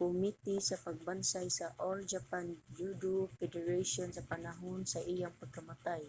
komite sa pagbansay sa all japan judo federation sa panahon sa iyang pagkamatay